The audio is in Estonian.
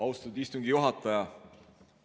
Austatud istungi juhataja!